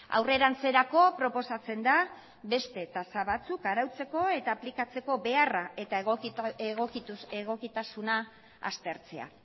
aurrerantzeko proposatzen da beste tasa batzuk arautzeko eta aplikatzeko beharra eta egokitasuna aztertzea